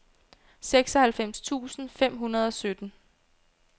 seksoghalvfems tusind fem hundrede og sytten